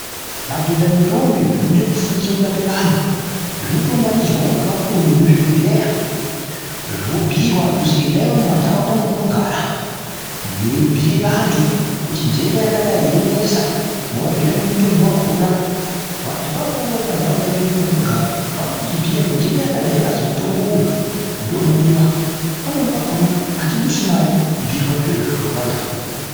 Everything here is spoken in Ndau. Madhodha nendombi zvinoda kufundira kurapa vantu. Zvinotounganidzwawo ngevakuru vemuzvibhendleya vobhuirwa kuzi endai mumanharaunda mwamunogara mweibhuira vantu kuti nhenda yakadai yonesa. Mwovabhiira nemutombo wakhona. Vantu avavo vouyawo munharaunda mwedu mwatinogara, nhenda yakadai yakazi mutombo uyu ndounodiwa. Pamweni pakhona atidusi mare kubhuirwa zviro izvozvo ngevantu ava.